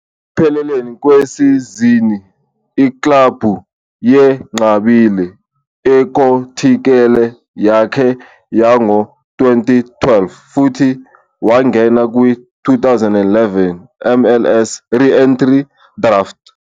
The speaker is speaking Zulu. Ekupheleni kwesizini, iklabhu yenqabile inkontileka yakhe yango-2012 futhi wangena kwi-2011 MLS Re-Entry Draft.